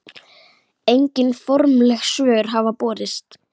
Engin formleg svör hafa borist.